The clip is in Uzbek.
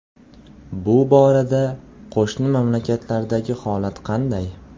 Bu borada qo‘shni mamlakatlardagi holat qanday?